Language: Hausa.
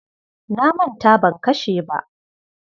Na manta ban kashe ba.